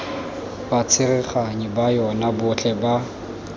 batsereganyi ba yona botlhe ba